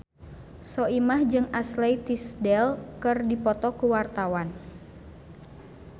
Soimah jeung Ashley Tisdale keur dipoto ku wartawan